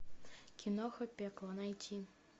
киноха пекло найти